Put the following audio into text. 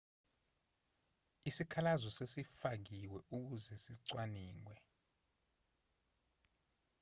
isikhalazo sesifakiwe ukuze sicwaningwe